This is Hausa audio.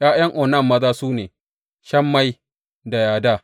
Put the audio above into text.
’Ya’yan Onam maza su ne, Shammai da Yada.